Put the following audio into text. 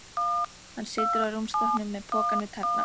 Hann situr á rúmstokknum með pokann við tærnar.